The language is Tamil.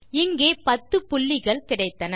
இங்கே 10புள்ளிகள் கிடைத்தன